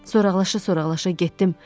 Soraqlaşa-soraqlaşa getdim.